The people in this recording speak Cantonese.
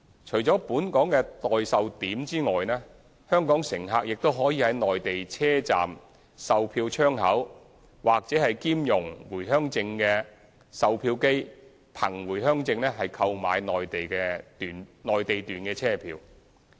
除了本港的代售點外，香港乘客亦可在內地車站售票窗口或兼容回鄉證的售票機憑回鄉證購買內地段車票。